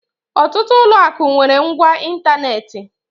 Ọtụtụ ụlọ akụ nwere ngwá ịntanetị.